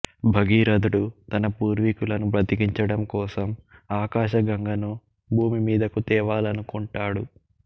భగీరథుడు తన పూర్వీకులను బతికించడం కోసం ఆకాశ గంగను భూమి మీదకు తేవాలనుకుంటాడు